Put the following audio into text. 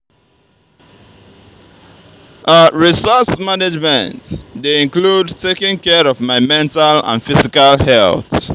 resource management dey include taking care of my mental and physical health.